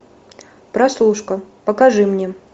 прослушка покажи мне